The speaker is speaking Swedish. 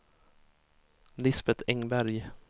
Lisbeth Engberg